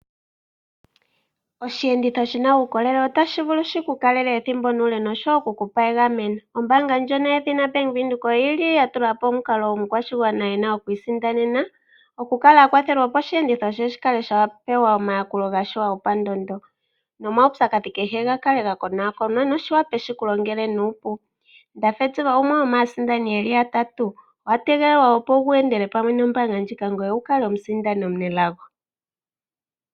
Oshiyenditho shina uukolele otashi vulu shi ku kalele ethimbo nuule noshowo okukupa egameno. Ombaanga ndjono yedhina bank Windhoek oyili ya tula po omukalo omukwashigwana ena okwiisindanena, okukala a kwathela opo oshiyenditho she shi kale sha pewa omayakulo gasho gopandondo, nomaupyakadhi kehe ga kale ga konwakonwa noshi wape shiku longele nuupu. Ndafediva oye gumwe gomaasindani yatatu. Owa tegelelwa opo wu endele pamwe nombaanga ndjika ngoye wu kale omusindani omunelago.